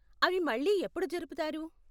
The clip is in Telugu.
అవి మళ్ళీ ఎప్పుడు జరుపుతారు?